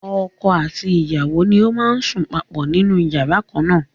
Ọkọ àti ìyàwó ni ó máa ń sùn papọ̀ nínú yàrá kan na.